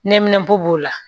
Nɛminɛn b'o b'o la